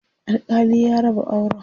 alkali ya raba auran